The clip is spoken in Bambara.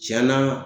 Tiɲɛna